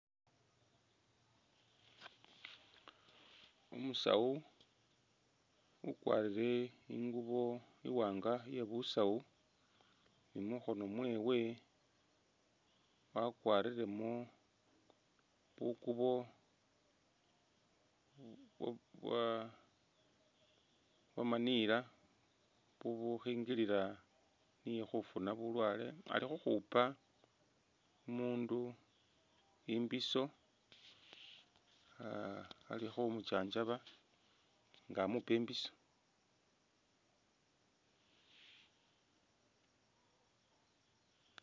Umusaawu ukwarile ingubo iwanga iye busaawu, mukhono mwewe wakwarilemo bukubo bya' byamaniila bubukhingilila niye khufuna bulwale alikhukhupa umundu imbiso aah alikhumunjanjaba nga amupa imbiso